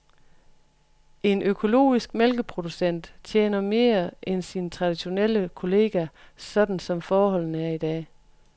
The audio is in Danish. En økologisk mælkeproducent tjener mere end sin traditionelle kollega sådan som forholdene er i dag.